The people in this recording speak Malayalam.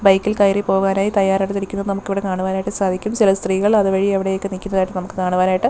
ബൈക്കിൽ കയറി പോകാനായി തയ്യാറെടുത്തിരിക്കുന്നത് നമുക്കിവിടെ കാണുവാനായിട്ട് സാധിക്കും ചില സ്ത്രീകൾ അതുവഴി അവിടെ നിൽക്കുന്നതായിട്ട് നമുക്ക് കാണുവാനായിട്ട്--